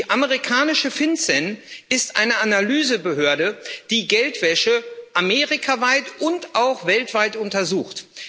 Die amerikanische FinCEN ist eine Analyse Behörde, die Geldwäsche amerikaweit und auch weltweit untersucht.